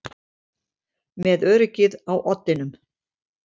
Með öryggið á oddinum